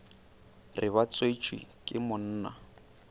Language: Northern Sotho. re ba tswetšwe ke monna